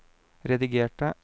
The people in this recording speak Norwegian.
redigerte